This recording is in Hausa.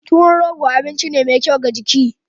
Tuwon rogo abinci ne mai kyau ga jiki.